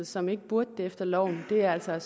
som ikke burde det efter loven det er altså